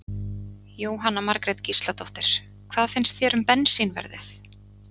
Jóhanna Margrét Gísladóttir: Hvað finnst þér um bensínverðið?